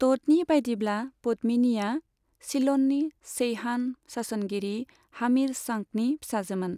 ट'डनि बायदिब्ला, पद्मिनिया सिल'ननि चैहान सासनगिरि हामिर सांकनि फिसाजोमोन।